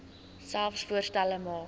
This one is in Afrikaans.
selfs voorstelle maak